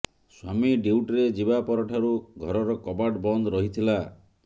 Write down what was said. ସ୍ୱାମୀ ଡ୍ୟୁଟିରେ ଯିବା ପରଠାରୁ ଘରର କବାଟ ବନ୍ଦ ରହିଥିଲା